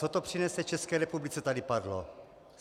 Co to přinese České republice, tady padlo.